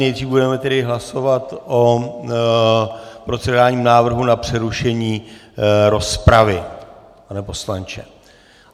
Nejdříve budeme tedy hlasovat o procedurálním návrhu na přerušení rozpravy, pane poslanče.